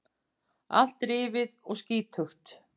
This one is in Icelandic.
Allt rifið og skítugt.